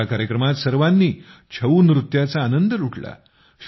या कार्यक्रमात सर्वांनी छऊ नृत्याचा आनंद लुटला